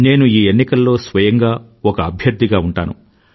నేను ఈ ఎన్నికలలో స్వయంగా ఒక అభ్యర్థిగా ఉంటాను